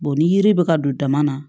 ni yiri bɛ ka don dama na